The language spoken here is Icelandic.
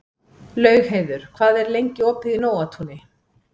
Laugheiður, hvað er lengi opið í Nóatúni?